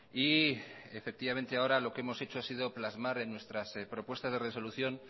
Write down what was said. y ahora lo que hemos hecho ha sido plasmar en nuestras propuestas de resolución